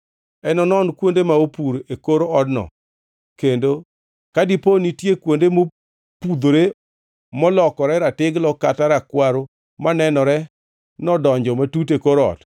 Enonon kuonde ma opur e kor odno kendo ka dipo nitie kuonde mopudhore molokore ratiglo kata Rakwaro manenore nodonjo matut e kor ot,